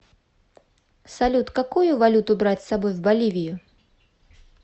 салют какую валюту брать с собой в боливию